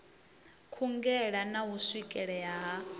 kungela na u swikelea ha